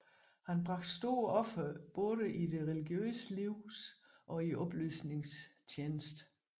Han bragte store ofre både i det religiøse livs og oplysningens tjeneste